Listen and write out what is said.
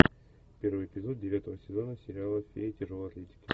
первый эпизод девятого сезона сериала фея тяжелой атлетики